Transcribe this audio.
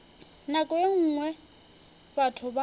nako ye nngwe batho ba